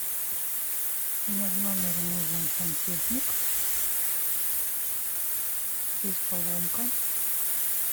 мне в номер нужен сантехник здесь поломка